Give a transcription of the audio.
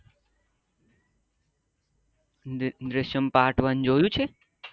Drishyam part one જોયું છે